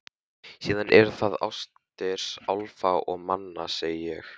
Síðan eru það ástir álfa og manna, segi ég.